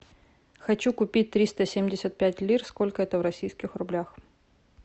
хочу купить триста семьдесят пять лир сколько это в российских рублях